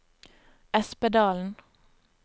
Espedalen